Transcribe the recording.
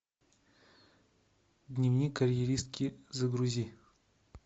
дневник карьеристки загрузи